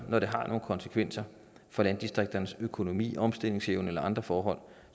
når der er nogle konsekvenser for landdistrikternes økonomi omstillingsevne eller andre forhold